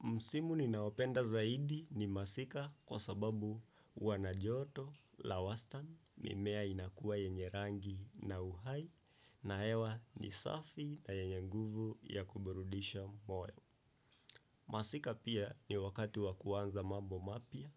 Msimu ni naopenda zaidi ni masika kwa sababu huwa na joto, la wastan, mimea inakua yenye rangi na uhai na hewa ni safi na yenye nguvu ya kuburudisha moyo. Masika pia ni wakati wakuanza mambo mapya